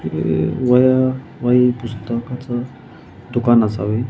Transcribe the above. हे वह्या वही पुस्तकाचे दुकान असतं असावे.